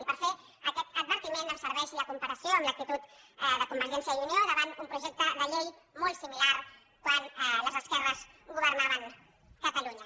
i per fer aquest advertiment em serveix la comparació amb l’actitud de convergència i unió davant un projecte de llei molt similar quan les esquerres governaven catalunya